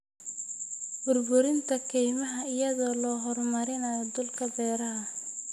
Burburinta kaymaha iyadoo la horumarinayo dhulka beeraha.